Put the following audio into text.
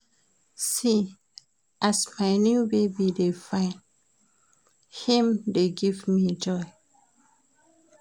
See as my new baby dey fine, im dey give me joy.